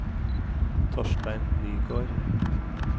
Torstein Nygård